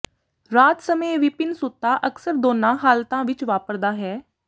ਰਾਤ ਸਮੇਂ ਵਿਭਿੰਨ ਸੁੱਤਾ ਅਕਸਰ ਦੋਨਾਂ ਹਾਲਤਾਂ ਵਿਚ ਵਾਪਰਦਾ ਹੈ